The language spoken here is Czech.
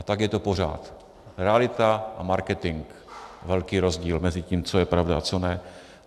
A tak je to pořád, realita a marketing, velký rozdíl mezi tím, co je pravda a co ne.